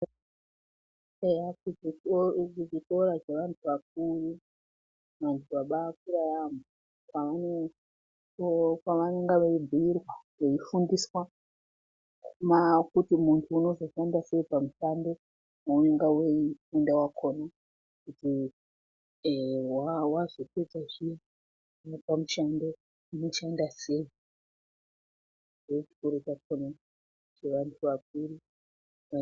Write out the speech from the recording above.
Eya ichi chikora chevantu vakuru, vantu vabaakura yaambo uko kwavanenge veibhuirwa, veifundiswa kuti muntu unozoshanda sei pamushando waunenga weifunda wakona. Kuti ehe wazopedza zviya waapamushando, unoshanda sei. Ndoochikora chakona chevantu vakuru